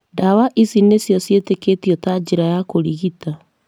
ndawa ici nĩcio ciĩtĩkĩtio ta njĩra ya kũrigita.